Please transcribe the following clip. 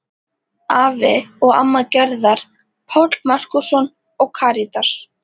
Afi og amma Gerðar, Páll Markússon og Karítas